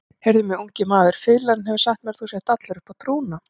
Heyrðu mig, ungi maður, fiðlarinn hefur sagt mér að þú sért allur uppá trúna.